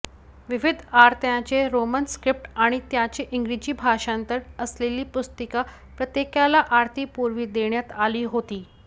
विविध आरत्यांचे Roman script आणि त्याचे इंग्रजी भाषांतर असलेली पुस्तिका प्रत्येकाला आरतीपुर्वी देण्यात आली होती